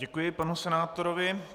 Děkuji panu senátorovi.